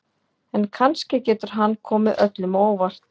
En kannski getur hann komið öllum á óvart.